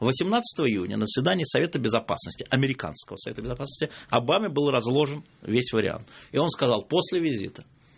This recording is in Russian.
восемнадцатого июня на заседании совета безопасности американского совета безопасности обаме был разложен весь вариант и он сказал после визита